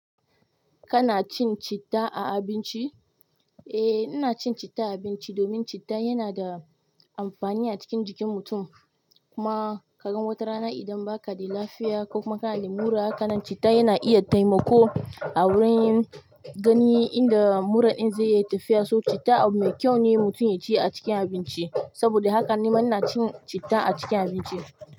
Kana cin citta a abinci? Eh, ina cin citta a abinci domin citta yana da amfani a cikin jikin mutum. Kuma ka gan wata rana idan ba ka da lafiya ko kuma kana da mura, kana citta yana iya taimako a wurin gani inda mura ɗin zai iya tafiya. So citta abu mai kyau ne mutum ya ci a cikin abinci. Saboda haka nima ina cin citta a cikin abinci.